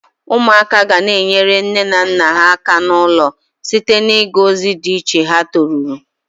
Umuaka gana-enyere nne na nna ha aka n'ulo site na-iga ozi di iche ha toruru.